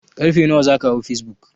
Ƙarfe nawa zaka hau facebook?